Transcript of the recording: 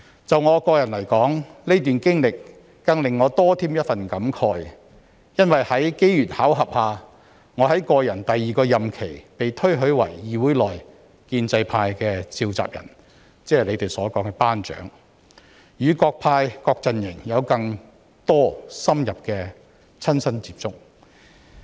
就我個人來說，這段經歷更令我倍添感慨，因為在機緣巧合下，我在個人第二個任期被推舉為議會內建制派的召集人，即他們所說的"班長"，與各派各陣營有更多深入的親身接觸。